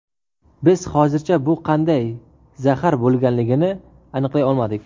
Biz hozircha bu qanday zahar bo‘lganligini aniqlay olmadik.